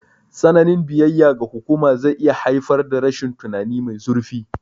Tsananin biyayya ga hukuma zai iya haifar da rashin tunani mai zurfi.